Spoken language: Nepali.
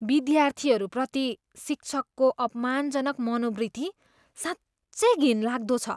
विद्यार्थीहरूप्रति शिक्षकको अपमानजनक मनोवृत्ति साँच्चै घिनलाग्दो छ।